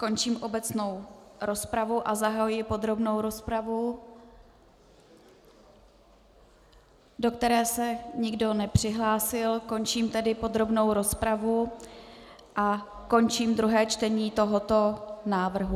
Končím obecnou rozpravu a zahajuji podrobnou rozpravu, do které se nikdo nepřihlásil, končím tedy podrobnou rozpravu a končím druhé čtení tohoto návrhu.